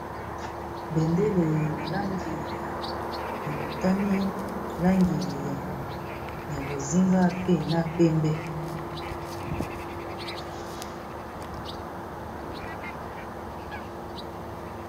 Bendele na langi ya motane, langi ya bozinga, pe na pembe.